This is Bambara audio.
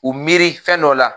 U miiri fɛn dɔ la